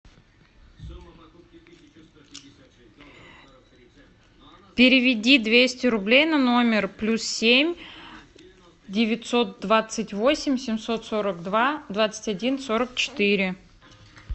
переведи двести рублей на номер плюс семь девятьсот двадцать восемь семьсот сорок два двадцать один сорок четыре